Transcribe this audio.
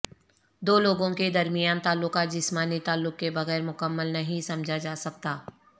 دو لوگوں کے درمیان تعلقات جسمانی تعلق کے بغیر مکمل نہیں سمجھا جا سکتا